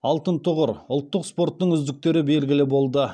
алтын тұғыр ұлттық спорттың үздіктері белгілі болды